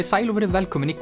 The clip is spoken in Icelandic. sæl og verið velkomin í